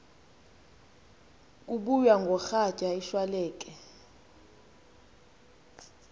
kubuya ngoratya ishwaleke